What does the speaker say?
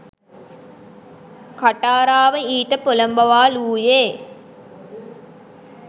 කටාරාව ඊට පොළඹවාලූයේ